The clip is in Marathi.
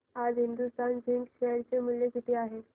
आज हिंदुस्तान झिंक शेअर चे मूल्य किती आहे